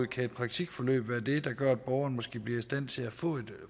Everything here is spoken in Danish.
kan et praktikforløb derimod være det der gør at borgeren måske bliver i stand til at få